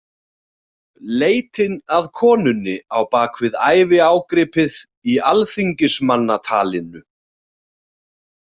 Leitin að konunni á bak við æviágripið í Alþingismannatalinu.